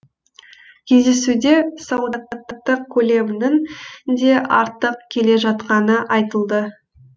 кездесуде сауда саттық көлемінің де артып келе жатқаны айтылды